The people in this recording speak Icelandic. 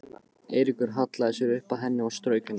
Eiríkur hallaði sér upp að henni og strauk henni.